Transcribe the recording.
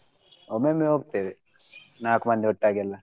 ಒಮ್ಮೆಮ್ಮೆ ಹೋಗ್ತೆವೆ ನಾಕ್ ಮಂದಿ ಒಟ್ಟಾಗೆಲ್ಲ.